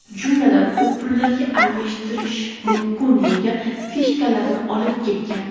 Jumladan, u pullarga almashtirish mumkin bo‘lgan fishkalarni olib ketgan.